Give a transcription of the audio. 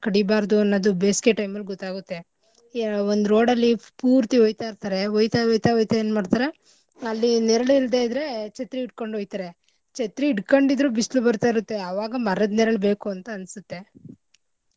ಕಡಿಬಾರ್ದು ಅನ್ನದು ಬೇಸ್ಗೆ time ಅಲ್ ಗೊತ್ತಾಗುತ್ತೆ. ಯಾ~ ಒಂದು road ಅಲ್ಲಿ ಪೂರ್ತಿ ಒಯ್ತಾ ಇರ್ತರೆ ಒಯ್ತ ಒಯ್ತ ಒಯ್ತ ಎನ್ ಮಾಡ್ತರೆ ಅಲ್ಲಿ ನೆರ್ಳ್ ಇಲ್ದೇ ಇದ್ರೆ ಛತ್ರಿ ಇಟ್ಕೊಂಡು ಒಯ್ತರೆ. ಛತ್ರಿ ಇಟ್ಕಂಡಿದ್ರು ಬಿಸ್ಳು ಬರ್ತಾ ಇರುತ್ತೆ ಆವಾಗ ಮರದ್ ನೆರ್ಳು ಬೇಕು ಅಂತ ಅನ್ಸುತ್ತೆ.